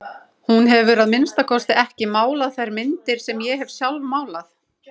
Hún hefur að minnsta kosti ekki málað þær myndir sem ég hef sjálf málað.